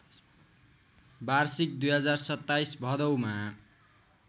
वार्षिक २०२७ भदौमा